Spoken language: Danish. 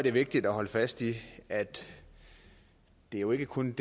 er vigtigt at holde fast i at det jo ikke kun